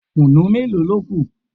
Kùnú mélòó ló kù?